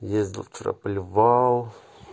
ездил вчера поливал